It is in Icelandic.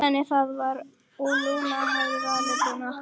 Þannig var það og Lúna hafði valið Brúnan.